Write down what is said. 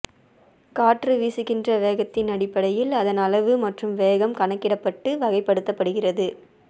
காற்று வீசுகின்ற வேகத்தின் அடிப்படையில் அதன் அளவு மற்றும் வேகம் கணக்கிடப்பட்டு வகைப்படுத்தப்படுகிறது